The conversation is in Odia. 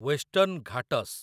western Ghats